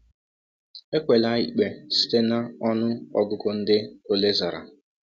Ekwela ikpe site na ọnụ ọgụgụ ndị ole zara.